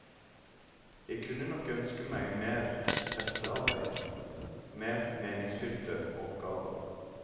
Jeg kunne nok ønske meg mer prestearbeid, mer meningsfylte oppgaver.